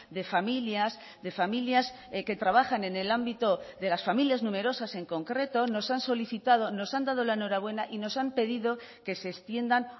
de familias de familias que trabajan en el ámbito de las familias numerosas en concreto nos han solicitado nos han dado la enhorabuena y nos han pedido que se extiendan